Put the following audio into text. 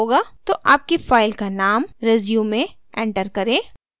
तो आपकी file का name resume enter करें